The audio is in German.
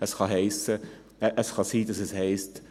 Es kann sein, dass es heisst: